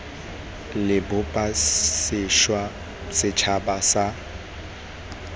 re bopa sešwa setšhaba sa